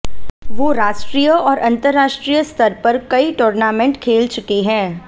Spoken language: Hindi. वो राष्ट्रीय और अंतरराष्ट्रीय स्तर पर कई टुर्नामेंट खेल चुके हैं